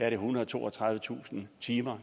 ethundrede og toogtredivetusind timer